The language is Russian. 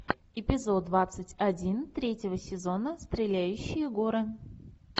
эпизод двадцать один третьего сезона стреляющие горы